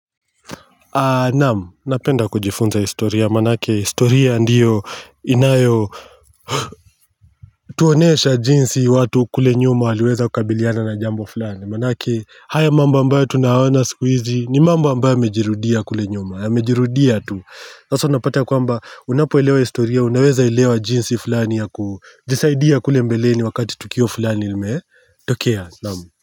Naamu, napenda kujifunza historia, manake historia ndiyo inayo Tuonesha jinsi watu kule nyuma waliweza kukabiliana na jambo fulani Manake haya mambo ambayo tunayaona siku hizi, ni mambo ambayo yamejirudia kule nyuma Yamejirudia tu, sasa unapata kwamba unapoelewa historia, unaweza elewa jinsi fulani ya kujisaidia kule mbeleni wakati tukio fulani limetokea, naamu.